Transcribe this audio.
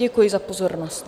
Děkuji za pozornost.